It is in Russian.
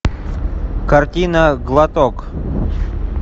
картина глоток